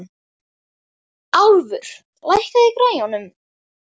Álfur, lækkaðu í græjunum.